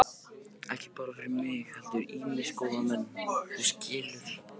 Ekki bara fyrir mig heldur ýmsa góða menn, þú skilur.